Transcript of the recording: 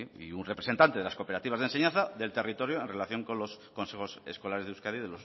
y un representante de las cooperativas de enseñanza del territorio en relación con los consejos escolares de euskadi